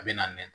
A bɛ na nɛn